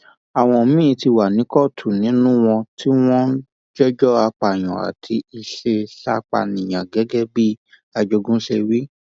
àwọn míín ti wà ní kóòtù nínú wọn tí wọn ń jẹjọ apààyàn àti ìṣeéṣàpànìyàn gẹgẹ bí ajogún ṣe wí